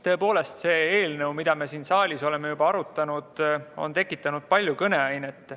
Tõepoolest, see eelnõu, mida me siin saalis oleme arutanud, on tekitanud palju kõneainet.